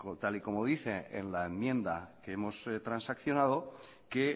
tal y como dice en la enmienda que hemos transaccionado que